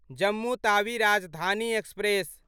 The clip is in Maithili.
जम्मू तावी राजधानी एक्सप्रेस